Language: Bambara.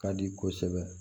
Ka di kosɛbɛ